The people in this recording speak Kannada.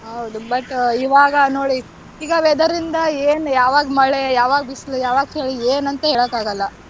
ಹೌದು but ಇವಾಗ ನೋಡಿ ಈಗ weather ಇಂದ ಏನ್ ಯಾವಾಗ ಮಳೆ ಯಾವಾಗ ಬಿಸ್ಲು ಯಾವಾಗ ಚಳಿ ಎನಂತ ಹೇಳಕ್ ಆಗಲ್ಲ.